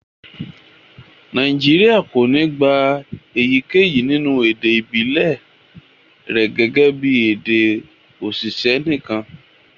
Nàìjíríà kò ní gbà èyíkéyìí nínú èdè ibilẹ rẹ̀ gẹ́gẹ́ bí èdè oṣiṣẹ nìkan.